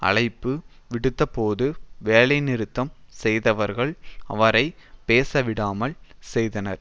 அழைப்பு விடுத்தபோது வேலைநிறுத்தம் செய்தவர்கள் அவரை பேசவிடாமல் செய்தனர்